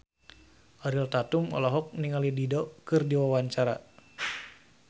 Ariel Tatum olohok ningali Dido keur diwawancara